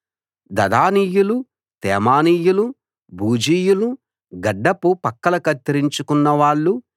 దదానీయులు తేమానీయులు బూజీయులు గడ్డపు పక్కల కత్తిరించుకున్నవాళ్ళు